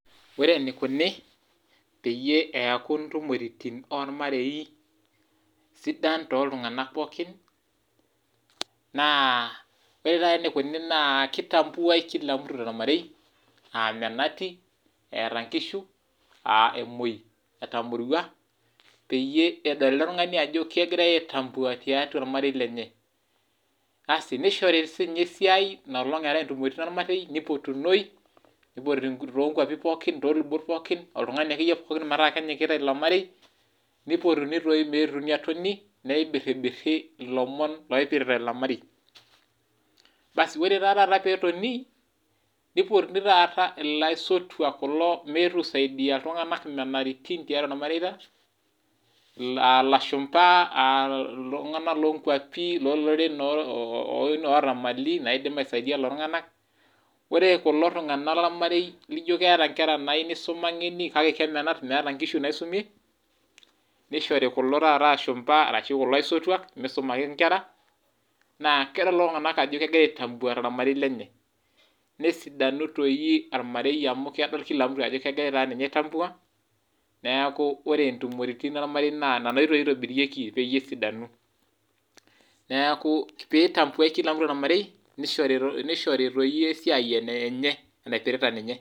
Ore enikuni peaku ntumoritin ormarei sidan toltunganak pookin naa ore nai enikuni naa kitambuai kila mutu tormareiaa menati, eeata nkishu, emoi etamorua peyie edol eletungani ajo kegirai aitambua tiatua ormarei lenye, asi nishori sininye esiai inakata eatae ntumoritin ormarei nipotunoi tolubot pookin oltungani akeyie pookin metaa kenyikita ilo marei nipotuni taa metaa eponunui nibiriri ilo marei, basi ore nai peetonii nipotuni taata laisotuak peyie ,lashumba aa ltunganak lomuruai, lonkuapi loloreren oota mali laidim aisaidia ltunganak, ore kulo tunganak lormarei laijo keeta nkera nayieu nisuma kake kemenat meeta nkishu naisumienishori nai kulo ashumbabashu kulo aisotuak misumaki nkera naa keyiolo lolo tunganak ajo kepuoi aitambua tormarei lenye, nesiadanu ormarei amu kedol kila mtu ajo kegirai aitambua neaku ore ntumoritin peyie esidanu, neaku piitambuai kila mtu tormarei nishori toi iyie esiai enenye naipirta nye.